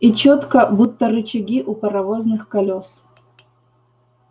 и чётко будто рычаги у паровозных колёс